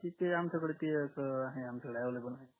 तिथे आमच्याकडे ते असं आहे आमच्याकडे available